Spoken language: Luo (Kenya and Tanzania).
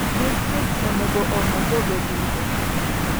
Distrikt onego ong'e joge duto.